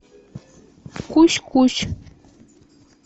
кусь кусь